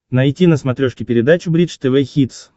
найти на смотрешке передачу бридж тв хитс